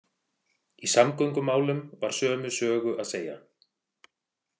Í samgöngumálum var sömu sögu að segja.